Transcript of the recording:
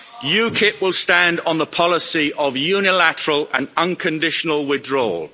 UKIP will stand on the policy of unilateral and unconditional withdrawal.